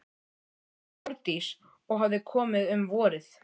Hún hét Þórdís og hafði komið um vorið.